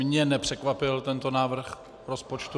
Mě nepřekvapil tento návrh rozpočtu.